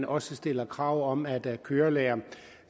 også stiller krav om at kørelærerne